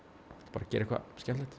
bara gera eitthvað skemmtilegt